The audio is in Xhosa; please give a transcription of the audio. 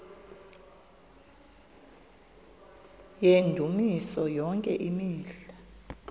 yendumiso yonke imihla